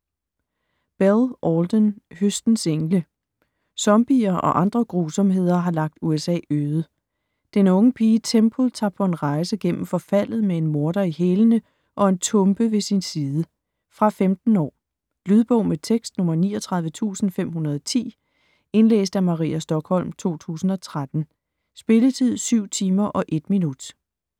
Bell, Alden: Høstens engle Zombier og andre grusomheder har lagt USA øde. Den unge pige Temple tager på en rejse gennem forfaldet med en morder i hælene og en tumpe ved sin side. Fra 15 år. Lydbog med tekst 39510 Indlæst af Maria Stokholm, 2013. Spilletid: 7 timer, 1 minutter.